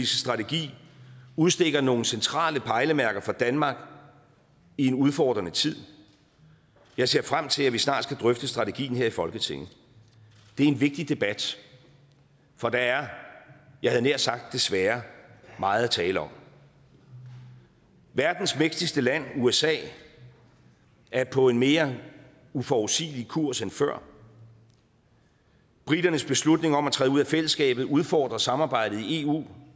strategi udstikker nogle centrale pejlemærker for danmark i en udfordrende tid jeg ser frem til at vi snart skal drøfte strategien her i folketinget det er en vigtig debat for der er jeg havde nær sagt desværre meget at tale om verdens mægtigste land usa er på en mere uforudsigelig kurs end før briternes beslutning om at træde ud af fællesskabet udfordrer samarbejdet i eu